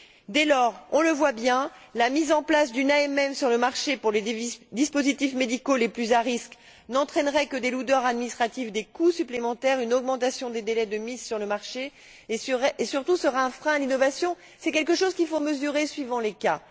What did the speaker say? Dès lors, on le voit bien, la mise en place d'une AMM sur le marché pour les dispositifs médicaux les plus à risque n'entraînerait que des lourdeurs administratives, des coûts supplémentaires, une augmentation des délais de mise sur le marché et, surtout, serait un frein à l'innovation. C'est quelque chose qu'il faut mesurer suivant les cas.